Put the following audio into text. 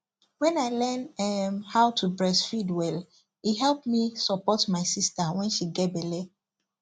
when i learn um how to breastfeed welle help me support my sister when she get belle